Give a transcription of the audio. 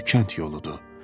Bu kənd yoludur.